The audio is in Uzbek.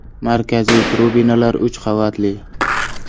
Markaziy tribunalar uch qavatli.